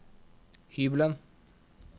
hybelen